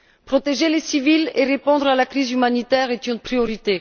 Protéger les civils et répondre à la crise humanitaire est une priorité.